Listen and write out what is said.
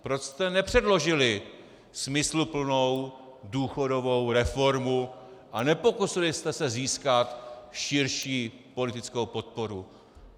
Proč jste nepředložili smysluplnou důchodovou reformu a nepokusili jste se získat širší politickou podporu?